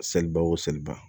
Seliba o seliba